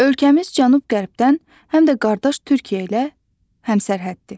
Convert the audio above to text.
Ölkəmiz cənub-qərbdən həm də qardaş Türkiyə ilə həmsərhəddir.